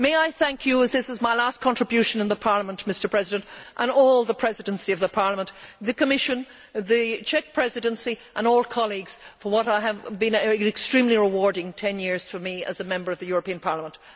May I thank you, as this is my last contribution in Parliament, and all the Presidency of Parliament, the Commission, the Czech Presidency and all colleagues for what has been an extremely rewarding 10 years for me as a Member of the European Parliament.